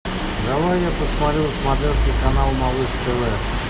давай я посмотрю смоленский канал малыш тв